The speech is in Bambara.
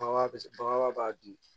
Bagan bɛ se bagan b'a dun